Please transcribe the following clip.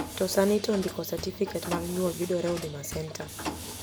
To sani to ndikO cerficate mar nyuol yudore Huma center